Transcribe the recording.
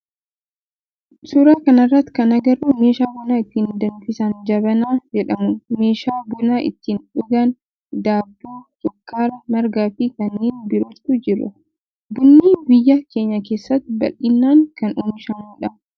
Suuraa kana irratti kan agarru meeshaa buna ittiin danfisan jabanaa jedhamu, meeshaa buna ittiin dhugaan, daabboo, sukkaara, margaa fi kanneen birootu jira. Bunni biyya keenya keessatti bal'inaan kan oomishamu dha.